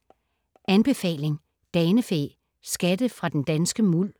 Anbefaling: Danefæ - skatte fra den danske muld